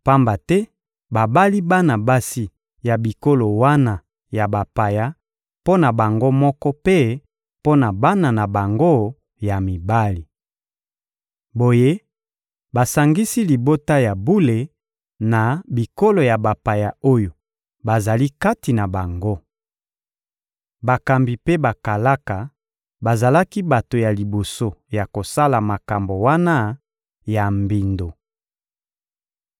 pamba te babali bana basi ya bikolo wana ya bapaya mpo na bango moko mpe mpo na bana na bango ya mibali. Boye, basangisi libota ya bule na bikolo ya bapaya oyo bazali kati na bango. Bakambi mpe bakalaka bazalaki bato ya liboso ya kosala makambo wana ya mbindo.»